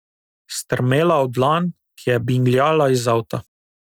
Strmela v dlan, ki je bingljala iz avta.